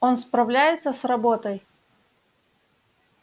он справляется с работой